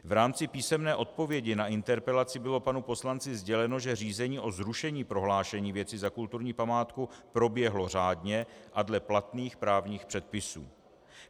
V rámci písemné odpovědi na interpelaci bylo panu poslanci sděleno, že řízení o zrušení prohlášení věci za kulturní památku proběhlo řádně a dle platných právních předpisů.